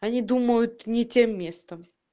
они думают не тем местом